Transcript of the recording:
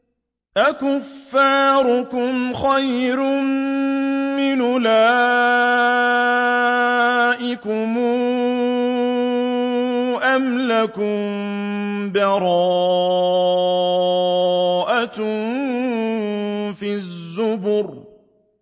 أَكُفَّارُكُمْ خَيْرٌ مِّنْ أُولَٰئِكُمْ أَمْ لَكُم بَرَاءَةٌ فِي الزُّبُرِ